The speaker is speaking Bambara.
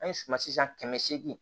An ye suma sisan kɛmɛ seegin